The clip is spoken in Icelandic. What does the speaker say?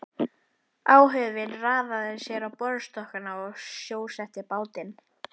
Áhöfnin raðaði sér á borðstokkana og sjósetti bátinn.